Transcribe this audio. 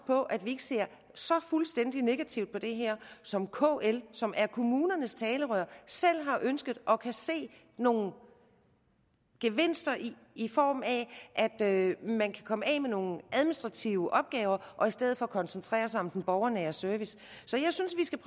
på at vi ikke ser så fuldstændig negativt på det her som kl som er kommunernes talerør selv har ønsket og kan se nogle gevinster i i form af at man kan komme af med nogle administrative opgaver og i stedet for koncentrere sig om den borgernære service jeg synes vi skal